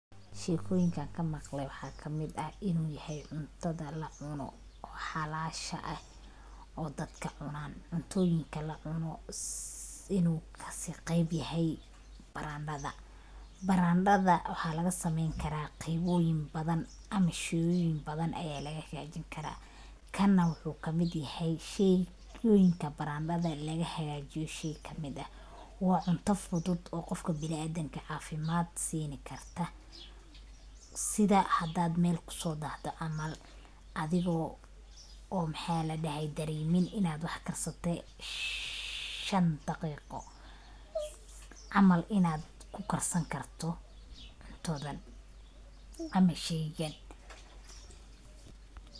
Sheekoyinka aan kamaqley waxaa kamid ah inuu yahay cuntada lacuno oo halaasha eh oo dadka cunaan. Cuntooyinka lacuno inuu kasiiqiibyahay baraandada. Barandada waxaa lagasameyn karaa qiibooyin badan ama sheeyooyin badan ayaa laga hegaajinkaraa. Kanna waxuu kamid yahay sheeyooyinka barandada laga hegaajiyo shay kamid ah. Waa cunto fudud oo qofka binaadinka caafimad siini karta, sida hadad meel kusoodahdo camal adigoo dareemin inaad wax karsatay shan daqiiqo camal inaad kukarsankarto cuntadan ama sheygan.